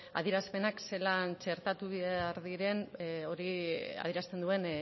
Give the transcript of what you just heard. adierazpenak zelan txertatu behar diren adierazten duen